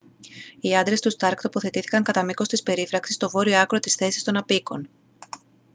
οι άντρες του σταρκ τοποθετήθηκαν κατά μήκος της περίφραξης στο βόρειο άκρο της θέσης των αποίκων